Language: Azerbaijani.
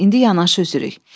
Amma indi yanaşı üzürük.